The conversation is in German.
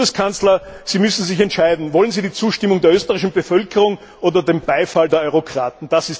Herr Bundeskanzler, Sie müssen sich entscheiden Wollen Sie die Zustimmung der österreichischen Bevölkerung oder den Beifall der Eurokraten?